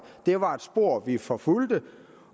det var et spor vi forfulgte